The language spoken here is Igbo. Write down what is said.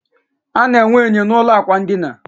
A na enwe enyo n'ulo ikwụ ndina